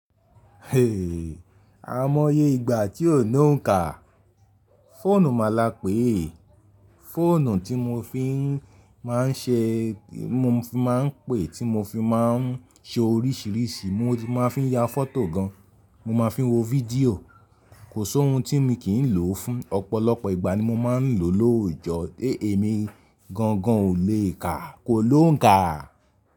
A mọ́ye ìgbà tí o ni loun kà. Fóònù màla pé, fòònù tí mo fi máa ń ṣe, tí mo fi máa ń pè, tí mo fi máa ń ṣe oríṣiríṣi, mo fi máa ń ya fọ́tò gan, mo máa ń fi wo fídíò, kò sé ohun tí mo kì í lò fún. Ọ̀pọ̀lọpọ̀ ìgbà ni mo máa ń lò lóòjọ́. Èmi gangan ò lè kà, kò ló ń kà.